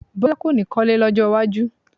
Bọ́lá kò ní kọ́lé lọ́jọ́ iwájú